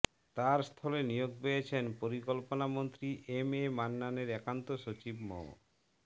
তার স্থলে নিয়োগ পেয়েছেন পরিকল্পনামন্ত্রী এমএ মান্নানের একান্ত সচিব মো